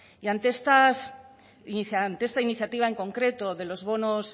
y ante esta iniciativa en concreto de los bonos